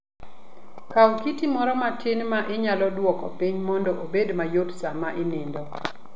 Kaw kiti moro matin ma inyalo duoko piny mondo obed mayot sama inindo.